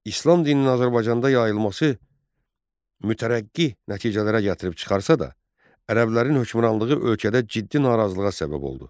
İslam dininin Azərbaycanda yayılması mütərəqqi nəticələrə gətirib çıxarsa da, ərəblərin hökmranlığı ölkədə ciddi narazılığa səbəb oldu.